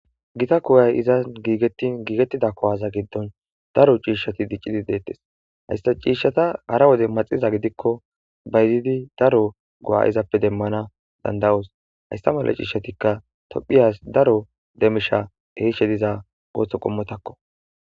gita koyay izan giigettin giigettida kowaza giddon daro ciishshati diccidi deettes haysta ciishshata hara wode maxiza gidikko baydidi daro go7a izappe demmana dandawos haystamala ciishshatikka tophiyas daro demisha heishshe diza ooththo qommotakko